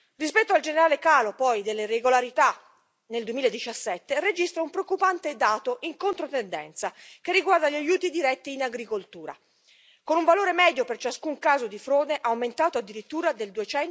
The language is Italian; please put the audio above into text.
Rispetto al generale calo poi delle irregolarità nel 2017, registra un preoccupante dato in controtendenza che riguarda gli aiuti diretti in agricoltura, con un valore medio per ciascun caso di frode aumentato addirittura del